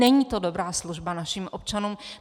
Není to dobrá služba našim občanům.